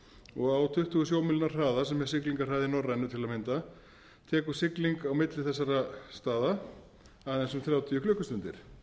og á tuttugu sjómílna hraða sem er siglingahraði norrænu til að mynda tekur sigling á milli þessara staða aðeins um þrjátíu klukkustundir